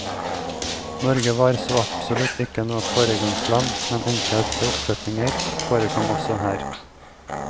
Norge var så absolutt ikke noe foregangsland, men enkle oppsetninger forekom også her.